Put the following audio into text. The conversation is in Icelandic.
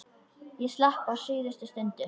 Ég slapp á síðustu stundu.